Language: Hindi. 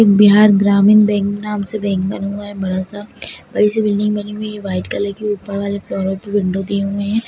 बिहार ग्रामीण बैंक नाम से बैंक बना हुआ है बड़ा सा बड़ी सी बिल्डिंग बनी हुई है वाइट कलर की ऊपर वाले फ्लोर पर विंडो दी हुई है।